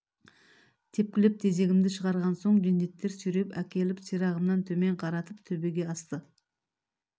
тепкілеп тезегімді шығарған соң жендеттер сүйреп әкеліп сирағымнан төмен қаратып төбеге асты